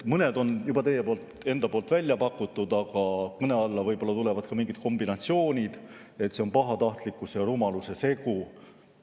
Mõned olid juba teil endal välja pakutud, aga kõne alla tulevad võib-olla ka mingid kombinatsioonid, näiteks et see on pahatahtlikkuse ja rumaluse segu.